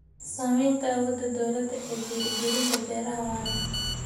Saamaynta awoodda dawladda ee dhiirigelinta beeraha waara.